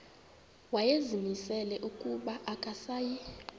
wayezimisele ukuba akasayi